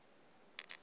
kwaphilingile